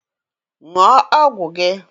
Ṅụọ ọgwụ gị!